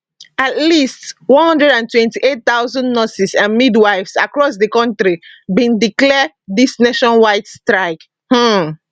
at least 128000 nurses and midwives across di kontri bin declare dis nationwide strike um